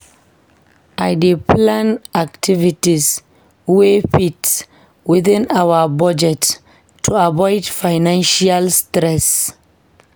I dey plan activities wey fit within our budget to avoid financial stress.